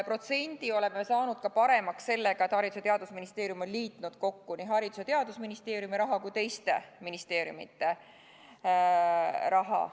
Protsendi oleme saanud paremaks ka sellega, et Haridus- ja Teadusministeerium on liitnud kokku nii Haridus- ja Teadusministeeriumi raha kui ka teiste ministeeriumide raha.